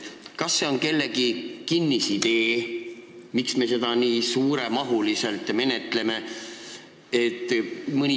Kas see on kellegi kinnisidee – miks me seda nii suuremahuliselt menetleme?